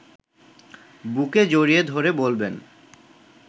বুকে জড়িয়ে ধরে বলবেন